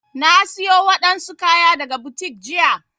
Na siyo wadansu kaya daga boutique jiya.